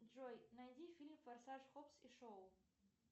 джой найди фильм форсаж хоббс и шоу